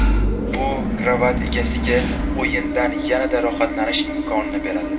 Bu krovat egasiga o‘yindan yanada rohatlanish imkonini beradi.